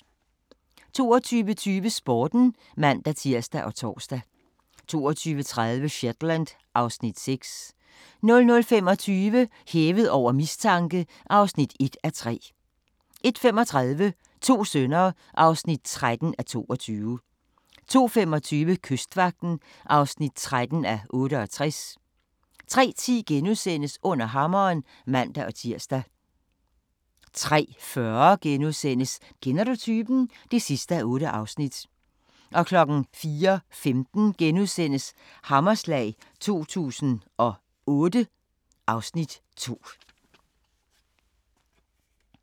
22:20: Sporten (man-tir og tor) 22:30: Shetland (Afs. 6) 00:25: Hævet over mistanke (1:3) 01:35: To sønner (13:22) 02:25: Kystvagten (13:68) 03:10: Under hammeren *(man-tir) 03:40: Kender du typen? (8:8)* 04:15: Hammerslag 2008 (Afs. 2)*